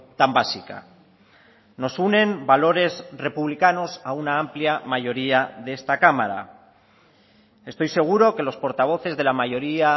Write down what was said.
tan básica nos unen valores republicanos a una amplia mayoría de esta cámara estoy seguro que los portavoces de la mayoría